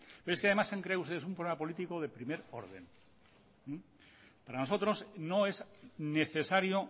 pero es que además han creado ustedes un problema político de primer orden para nosotros no es necesario